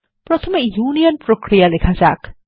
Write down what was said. প্রথমে ইউনিয়ন প্রক্রিয়া লেখা যাক